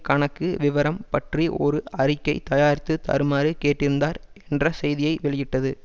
கணக்கு விவரம் பற்றி ஒரு அறிக்கை தயாரித்துத் தருமாறு கேட்டிருந்தார் என்ற செய்தியை வெளியிட்டது